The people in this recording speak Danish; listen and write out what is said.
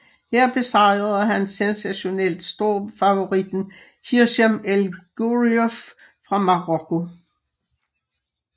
Her besejrede han sensationelt storfavoritten Hicham El Guerrouj fra Marokko